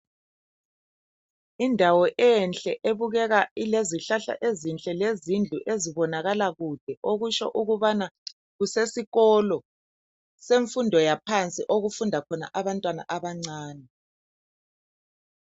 Indawo enhle ebukeka ilezihlahla ezinhle lezindlu ezibonakala kude, okutsho ukubana kusesikolo semfundo yaphansi okufunda khona abantwana abancane.